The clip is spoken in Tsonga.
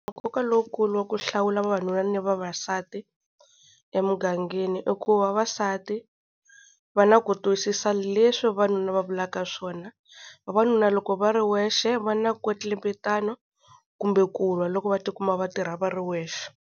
Nkoka lowukulu wa ku hlawula vavanuna ni vavasati emugangeni, i ku vavasati va na ku twisisa leswi vavanuna va vulaka swona. Vavanuna loko va ri wexe va na nkwetlembetana kumbe kulwa loko va tikuma va tirha va ri wexe.